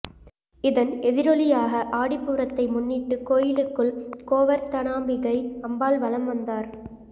இதன் எதிரொலியாக ஆடிப்பூரத்தை முன்னிட்டு கோயிலுக்குள் கோவர்த்தனாம்பிகை அம்பாள் வலம் வந்தார்